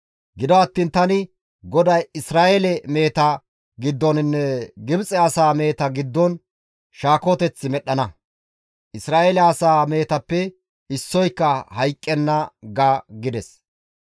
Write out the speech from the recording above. Gido attiin tani GODAY Isra7eele meheta giddoninne Gibxe asaa meheta giddon shaakoteth medhdhana. Isra7eele asaa mehetappe issoyka hayqqenna› ga» gides.